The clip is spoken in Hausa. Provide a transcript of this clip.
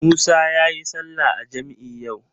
Musa yayi sallah a jam'i yau.